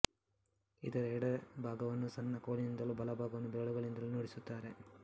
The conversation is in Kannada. ಇದರ ಎಡ ಭಾಗವನ್ನು ಸಣ್ಣ ಕೋಲಿನಿಂದಲೂ ಬಲ ಭಾಗವನ್ನು ಬೆರಳುಗಳಿಂದಲೂ ನುಡಿಸುತ್ತಾರೆ